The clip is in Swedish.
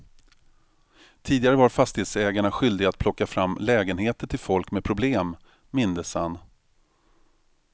Tidigare var fastighetsägarna skyldiga att plocka fram lägenheter till folk med problem, mindes han.